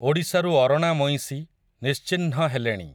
ଓଡ଼ିଶାରୁ ଅରଣା ମଇଁଷି, ନିଶ୍ଚିହ୍ନ ହେଲେଣି ।